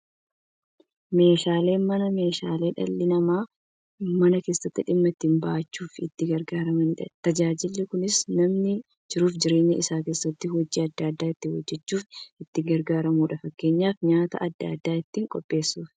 Meeshaaleen Manaa meeshaalee dhalli namaa Mana keessatti dhimma itti ba'achuuf itti gargaaramaniidha. Tajaajilli kunis, namni jiruuf jireenya isaa keessatti hojii adda adda ittiin hojjachuuf itti gargaaramu. Fakkeenyaf, nyaata adda addaa ittiin qopheessuuf.